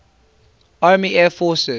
army air forces